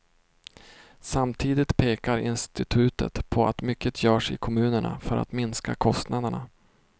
Samtidigt pekar institutet på att mycket görs i kommunerna för att minska kostnaderna.